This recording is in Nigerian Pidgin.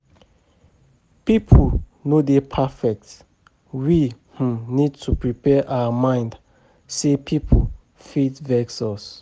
Pipo no dey perfect, we um need to prepare our mind sey pipo fit vex us